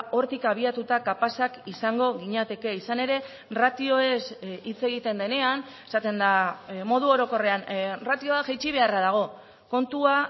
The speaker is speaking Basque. hortik abiatuta kapazak izango ginateke izan ere ratioez hitz egiten denean esaten da modu orokorrean ratioa jaitsi beharra dago kontua